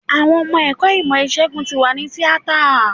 Àwọn ọmọ ẹ̀kọ́ ìmọ̀ ìsègùn tí wà ní tíátà.